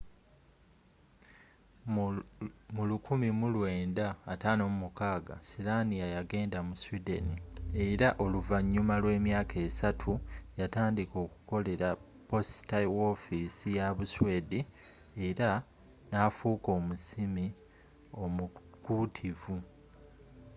mu 1956 slania yageenda mu sweden era oluvanyuma lwemyaka esatu yatandika okukolera posita wofiisi ya busweedi era nafuuka omusimi omukuutivu